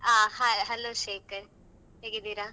ಹಾ hello ಶ್ರೀಕರ್ ಹೇಗಿದ್ದೀರಾ?